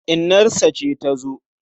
Inarsa ce ta zo.